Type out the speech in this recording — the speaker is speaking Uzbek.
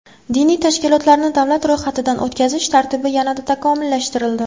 Diniy tashkilotlarni davlat ro‘yxatidan o‘tkazish tartibi yanada takomillashtirildi.